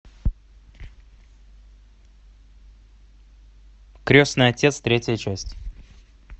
крестный отец третья часть